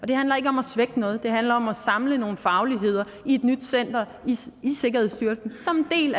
det handler ikke om at svække noget det handler om at samle nogle fagligheder i et nyt center i sikkerhedsstyrelsen som en